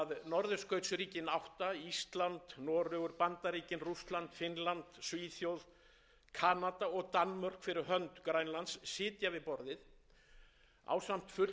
tel ég að sé best gætt með því að leggja rækt við marghliða samstarf þar sem norðurskautsríkin átta ísland noregur bandaríkin rússland finnland svíþjóð kanada og danmörk fyrir hönd grænlands sitja við borðið ásamt fulltrúum